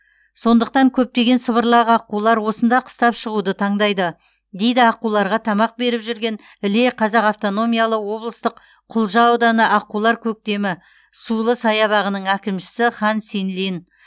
сондықтан көптеген сыбырлақ аққулар осында қыстап шығуды таңдайды дейді аққуларға тамақ беріп жүрген іле қазақ автономиялы облыстық құлжа ауданы аққулар көктемі сулы саябағының әкімшісі хан синлин